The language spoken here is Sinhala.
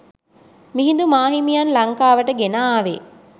මිහිදු මා හිමියන් ලංකාවට ගෙන ආවේ